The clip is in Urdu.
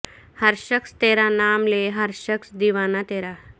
ہر شخص تیرا نام لے ہر شخص دیوانہ ترا